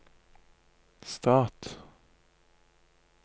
stat